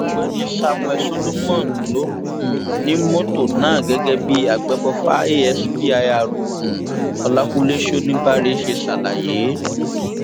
ọgbẹni samuel solomon ló um ni mọtò náà gẹgẹ bí àgbéfọfà aspir um ọlákúnlẹ shonibarè ṣe ṣàlàyé